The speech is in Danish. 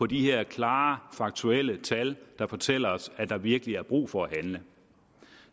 de her klare faktuelle tal der fortæller os at der virkelig er brug for at handle